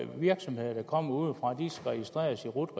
på virksomheder der kommer udefra skal registreres i rut